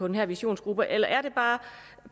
den her visionsgruppe eller er det bare